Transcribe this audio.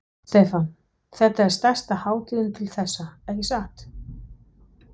Stefán: Þetta er stærsta hátíðin til þessa, ekki satt?